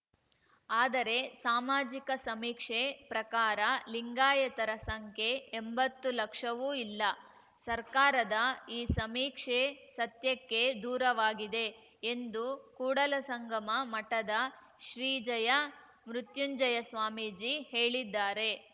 ಆದರೆ ಸಾಮಾಜಿಕ ಸಮೀಕ್ಷೆ ಪ್ರಕಾರ ಲಿಂಗಾಯತರ ಸಂಖ್ಯೆ ಎಂಬತ್ತು ಲಕ್ಷವೂ ಇಲ್ಲ ಸರ್ಕಾರದ ಈ ಸಮೀಕ್ಷೆ ಸತ್ಯಕ್ಕೆ ದೂರವಾಗಿದೆ ಎಂದು ಕೂಡಲ ಸಂಗಮ ಮಠದ ಶ್ರೀ ಜಯ ಮೃತ್ಯುಂಜಯ ಸ್ವಾಮೀಜಿ ಹೇಳಿದ್ದಾರೆ